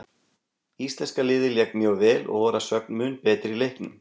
Íslenska liðið lék mjög vel og voru að sögn mun betri í leiknum.